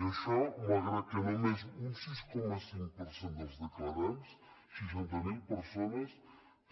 i això malgrat que només un sis coma cinc per cent dels declarants seixanta mil persones